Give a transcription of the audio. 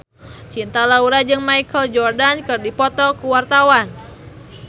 Cinta Laura jeung Michael Jordan keur dipoto ku wartawan